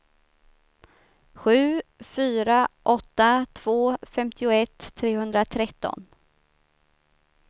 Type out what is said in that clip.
sju fyra åtta två femtioett trehundratretton